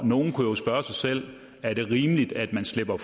nogle kunne jo spørge sig selv er det rimeligt at man slipper